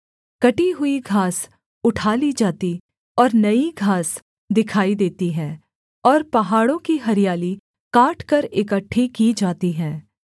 कटी हुई घास उठा ली जाती और नई घास दिखाई देती है और पहाड़ों की हरियाली काटकर इकट्ठी की जाती है